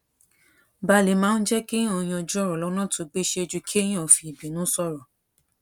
balè máa ń jé kéèyàn yanjú òrò lónà tó gbéṣé ju kéèyàn fi ìbínú sòrò